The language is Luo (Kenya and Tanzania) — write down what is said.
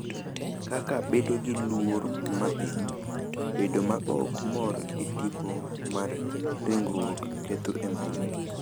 Kaka bedo gi luor ma piny, bedo ma ok mor gi tipo mar ringruok, ketho e mbui,